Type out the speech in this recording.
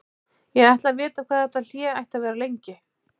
Ég ætlaði að vita hvað þetta hlé ætti að vera lengi.